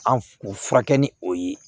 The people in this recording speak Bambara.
An kun furakɛ ni o ye